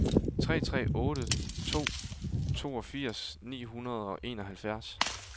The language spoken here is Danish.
tre tre otte to toogfirs ni hundrede og enoghalvfjerds